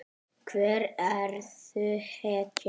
Hver verður hetjan?